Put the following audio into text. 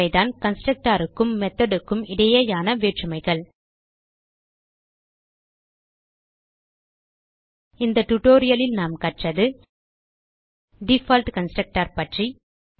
இவைதான் கன்ஸ்ட்ரக்டர் க்கும் methodக்கும் இடையேயான வேற்றுமைகள் இந்த tutorialலில் நாம் கற்றது டிஃபால்ட் கன்ஸ்ட்ரக்டர் பற்றி